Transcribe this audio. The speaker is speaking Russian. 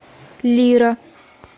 лира